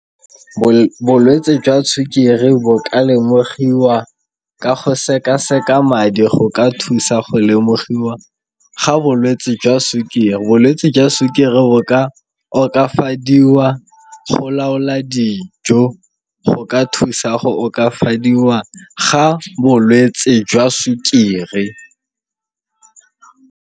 Bolwetse jwa sukiri bo ka lemogiwa ka go sekaseka madi go ka thusa go lemogiwa ga bolwetse jwa sukiri. Bolwetse jwa sukiri bo ka okafadiwa go laola dijo, go ka thusa go okafadiwa ga bolwetse jwa sukiri.